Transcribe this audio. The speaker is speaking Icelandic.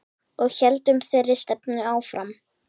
Og héldum þeirri stefnu áfram.